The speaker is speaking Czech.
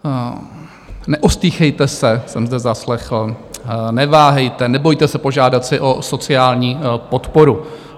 Neostýchejte se, jsem zde zaslechl, neváhejte, nebojte se požádat si o sociální podporu.